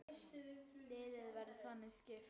Liðið verður þannig skipað